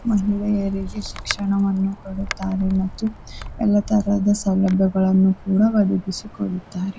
ಮಹಿಳೆಯರಿಗೆ ಶಿಕ್ಷಣವನ್ನು ಕೊಡುತ್ತಾರೆ ಮತ್ತು ಎಲ್ಲ ತರಹದ ಸೌಲಭ್ಯಗಳನ್ನೂ ಕೂಡ ಒದಗಿಸಿ ಕೊಡುತ್ತಾರೆ.